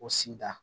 O sigida